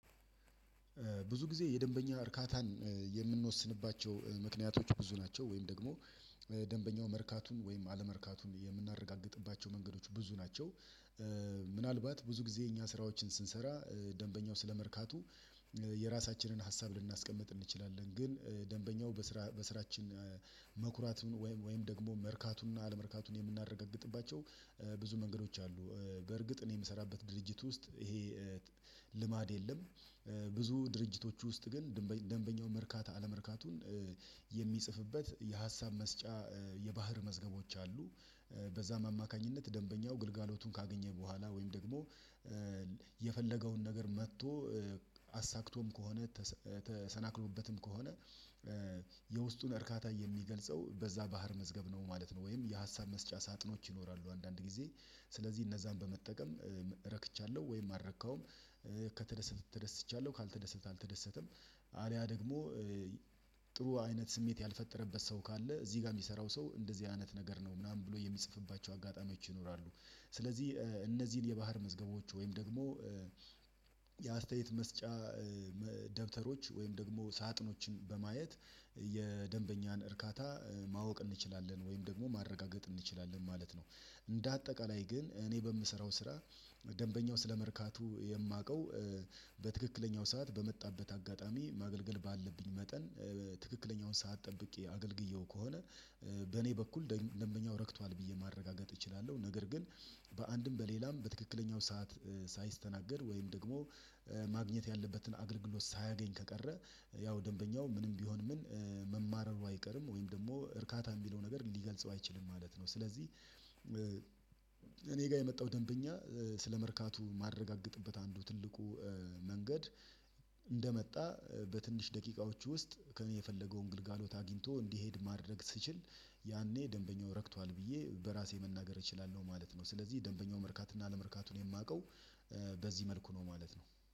ብዙ ጊዜ የደንበኛ እርካታን የምንወስንባቸው ምክንያቶች ብዙ ናቸው ወይም ደግሞ ደንበኛው መርካቱን ወይም አለመርካቱን የምናረጋግጥባቸው መንገዶች ብዙ ናቸው። ምናልባት ብዙ ጊዜ እኛ ስራዎችን ስንሰራ ደንበኛው ስለመርካቱ የራሳችንን ሀሳብ ልናስቀምጥ እንችላለን ግን ደንበኛው በስራ በስራችን ወይም ደግሞ መርካቱንና አለመርካቱን የምናረጋግጥባቸው ብዙ መንገዶች አሉ። በእርግጥ እኔ የምሰራበት ድርጅት ውስጥ ይሄ ልማድ የለም። ብዙ ድርጅቶች ውስጥ ግን ደንበኛው መርካታ አለመርካቱን የሚጽፍበት የሀሳብ መስጫ የባህር መዝገቦች አሉ። በዛም አማካኝነት ደንበኛው ግልጋሎቱን ካገኘ በኋላ ወይም ደግሞ የፈለገውን ነገር መጥቶ አሳክቶም ከሆነ ተሰናክሎበትም ከሆነ እርካታ የሚገልጸው በዛ ባህር መዝገብ ነው ማለት ነው። ወይም የሀሳብ መስጫ ሳጥኖች ይኖራሉ አንዳንድ ጊዜ ስለዚህ እነዛን በመጠቀም ረክቻለሁ ወይም አረከሁም ከተደሰትኩ ተደስቻለሁ ካልተደሰትኩ አልተደሰተም። አሊያ ደግሞ ጥሩ አይነት ስሜት ያልፈጠረበት ሰው ካለ እዚህ ጋር የሚሰራው ሰው እንደዚህ አይነት ነገር ነው ምናምን ብሎ የሚጽፍባቸው አጋጣሚዎች ይኖራሉ። ስለዚህ እነዚህን የባህር መዝገቦች ወይም ደግሞ የአስተያየት መስጫ ደብተሮች ወይም ደግሞ ሳጥኖችን በማየት የደንበኛን እርካታ ማወቅ እንችላለን ወይም ደግሞ ማረጋገጥ እንችላለን ማለት ነው። እንደ አጠቃላይ ግን እኔ በምሰራው ስራ ደንበኛው ስለመርካቱ የማውቀው በትክክለኛው ሰዓት በመጣበት አጋጣሚ ማገልገል ባለብኝ መጠን ትክክለኛውን ሰዓት ጠብቄ አገልግዬው ከሆነ በኔ በኩል ደንበኛው ረክቷል ብዬ ማረጋገጥ እችላለሁ። ነገር ግን በአንድም በሌላም በትክክለኛው ሰዓት ሳይስተናገድ ወይም ደግሞ ማግኘት ያለበትን አገልግሎት ሳያገኝ ከቀረ ያው ደንበኛው ምንም ቢሆን ምን መማረሩ አይቀርም ወይም ደግሞ እርካታ የሚለው ነገር ሊገልጸው አይችልም ማለት ነው። ስለዚህ እኔ ጋር የመጣው ደንበኛ ስለመርካቱ ማረጋገጥበት አንዱ ትልቁ መንገድ በትንሽ ደቂቃዎች ውስጥ ከእኔ የፈለገውን ግልጋሎት አግኝቶ እንዲሄድ ማድረግ ስችል ያኔ ደንበኛው ረክቷል ብዬ በራሴ መናገር እችላለሁ ማለት ነው። ስለዚህ ደንበኛው መርካትና አለመርካቱን የማውቀው በዚህ መልኩ ነው ማለት ነው